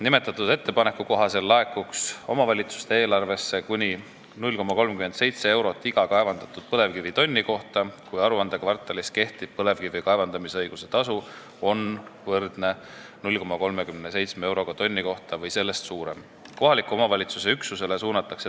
Nimetatud ettepaneku kohaselt laekuks omavalitsuste eelarvesse kuni 0,37 eurot iga kaevandatud põlevkivitonni kohta, kui aruandekvartalis kehtiv põlevkivi kaevandamisõiguse tasu on võrdne 0,37 euroga tonni kohta või sellest suurem.